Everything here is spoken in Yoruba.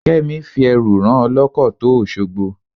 Kẹ́mi fi ẹrù rán ọlọ́kọ̀ tó Òṣogbo.